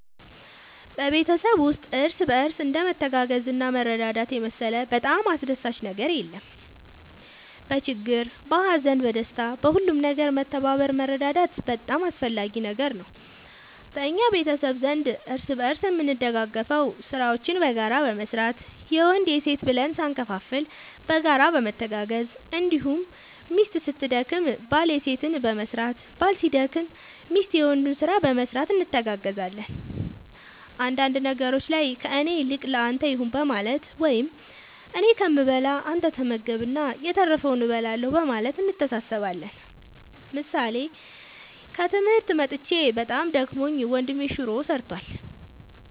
በቤተሰብ ውስጥ እርስ በርስ እንደ መተጋገዝና መረዳዳት የመሰለ በጣም አስደሳች ነገር የለም በችግር በሀዘን በደስታ በሁሉም ነገር መተባበር መረዳዳት በጣም አስፈላጊ ነገር ነው በእኛ ቤተሰብ ዘንድ እርስ በርስ የምንደጋገፈው ስራዎችን በጋራ በመስራት የወንድ የሴት ብለን ሳንከፋፈል በጋራ በመተጋገዝ እንዲሁም ሚስት ስትደክም ባል የሴትን በመስራት ባል ሲደክም ሚስት የወንዱን ስራ በመስራት እንተጋገዛለን አንዳንድ ነገሮች ላይ ከእኔ ይልቅ ለአንተ ይሁን በማለት ወይም እኔ ከምበላ አንተ ተመገብ እና የተረፈውን እበላለሁ በማለት እንተሳሰባለን ምሳሌ ከትምህርት መጥቼ በጣም ደክሞኝ ወንድሜ ሹሮ ሰርቷል።